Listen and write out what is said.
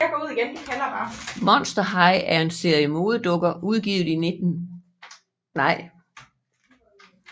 Monster High er en serie modedukker udgivet i juli 2010 af Mattel